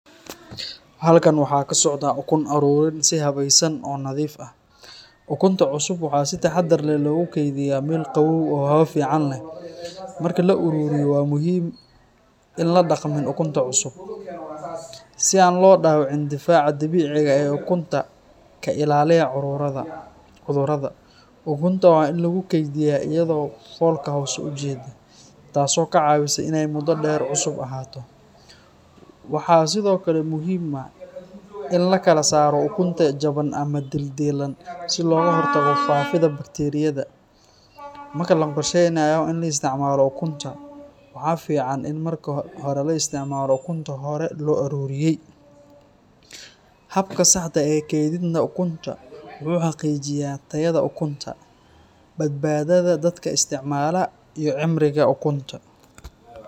Halkan waxaa ka socdaah ukun aruurin si habaysan oo nadiif ah. Ukunta cusub waxaa si taxaddar leh loogu kaydiyaa meel qabow oo hawo fiican leh. Marka la ururiyo, waa muhiim in aan la dhaqmin ukunta cusub, si aan loo dhaawicin difaaca dabiiciga ah ee ukunta ka ilaaliya cudurrada. Ukunta waa in lagu kaydiyaa iyadoo foolka hoose u jeedda, taas oo ka caawisa inay muddo dheer cusub ahaato. Waxaa sidoo kale muhiim ah in la kala saaro ukunta jaban ama dildilan, si looga hortago faafidda bakteeriyada. Marka la qorsheynayo in la isticmaalo ukunta, waxaa fiican in marka hore la isticmaalo ukunta hore loo aruuriyey. Habka saxda ah ee kaydinta ukunta wuxuu xaqiijiyaa tayada ukunta, badbaadada dadka isticmaala, iyo cimriga ukunta.